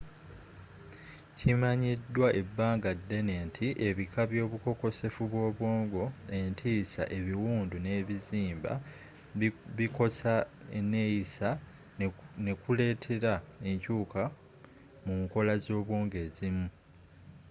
kimanyiddwa ebbanga ddene nti ebika by'obukokosefu bw'obwongo entiisa ebiwundu ne bizimba bikosa eneeyisa ne kuleetera enkyuuka mu nkola z'obwongo ezimu